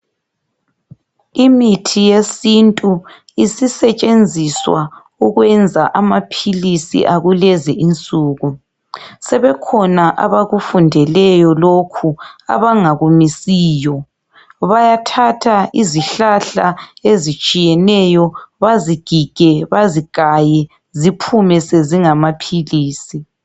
Imithi yesintu isisetshenziswa ukwenza amaphilisi akulezi insuku. Sebekhona abakufundeleyo lokhu abangakumisiyo. Bayathatha izihlahla ezitshiyeneyo bazigige, bazigaye ziphume sezingamaphilisi.